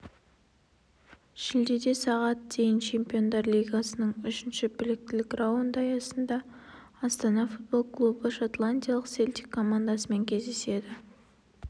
шілдеде сағат дейін чемпиондар лигасының үшінші біліктілік раунды аясында астана футбол клубы шотландиялық селтик командасымен кездеседі